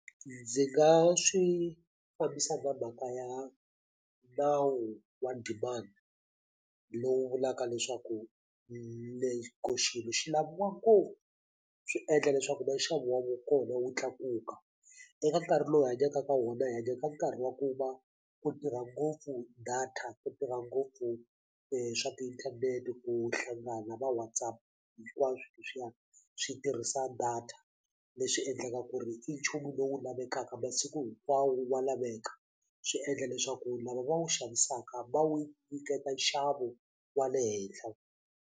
Ndzi nga swi fambisa na mhaka ya nawu wa demand lowu vulaka leswaku xilo xi laviwa ngopfu swi endla leswaku na nxavo wa kona wu tlakuka eka nkarhi lowu hi hanyaka ka wona hi hanya ka nkarhi wa ku va ku tirha ngopfu data ku tirha ngopfu swa tiinthanete ku hlangana va WhatsApp hinkwaswo leswiya swi tirhisa data leswi endlaka ku ri i nchumu lowu lavekaka masiku hinkwawo wa laveka swi endla leswaku lava va wu xavisaka va wu nyiketa nxavo wa le henhla.